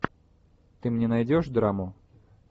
ты мне найдешь драму